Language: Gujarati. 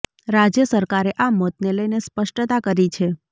રાજ્ય સરકારે આ મોતને લઈને સ્પષ્ટતા કરી છે